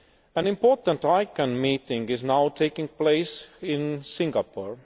An important ICANN meeting is now taking place in Singapore.